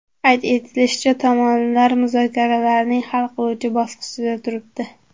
Qayd etilishicha, tomonlar muzokaralarning hal qiluvchi bosqichida turibdi.